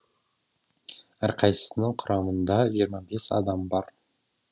әрқайсысының құрамында жиырма бес адам бар